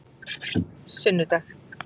sunnudag